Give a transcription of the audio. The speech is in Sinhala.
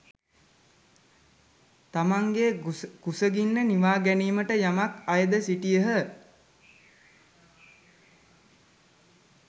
තමාගේ කුසගින්න නිවාගැනීමට යමක් අයද සිටියහ.